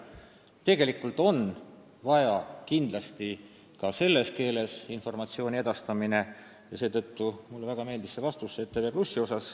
Tegelikult on vaja ka selles teises keeles informatsiooni edastada ja seetõttu mulle väga meeldis peaministri vastus ETV+ kohta.